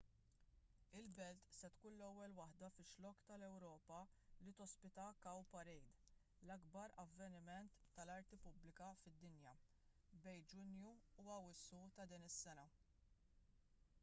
il-belt se tkun l-ewwel waħda fix-xlokk tal-ewropa li tospita cowparade l-ikbar avveniment tal-arti pubblika fid-dinja bejn ġunju u awwissu ta' din is-sena